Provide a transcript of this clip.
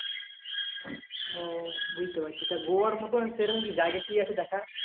ও বুঝতে পারছি তা গোয়ার মত সেরকম কি জায়গা কি আছে দেখা?